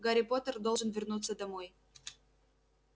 гарри поттер должен вернуться домой